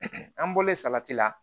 an bɔlen salati la